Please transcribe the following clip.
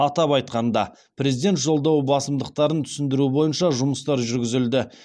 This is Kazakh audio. атап айтқанда президент жолдауы басымдықтарын түсіндіру бойынша жұмыстар жүргізілді